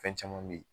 Fɛn caman be ye